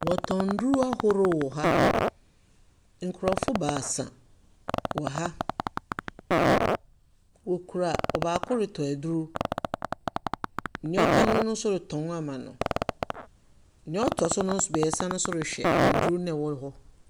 Wɔtɔn nnuro ahorow wɔ ha. Nkorɔfo baasa wɔ ha. Wɔkura ɔbaako retɔ aduro, deɛ ɔka ho nso retɔn ama no. deɛ ɔtɔ so no mmiɛnsa no nso rehwɛ nnuro no a ɛwɔ hɔ no.